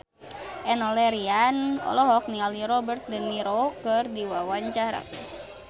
Enno Lerian olohok ningali Robert de Niro keur diwawancara